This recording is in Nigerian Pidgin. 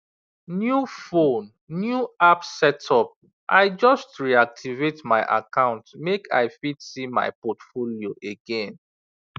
new phone new app setup i just reactivate my account make i fit see my portfolio again